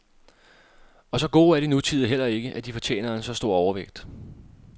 Og så gode er de nutidige heller ikke, at de fortjener en så stor overvægt.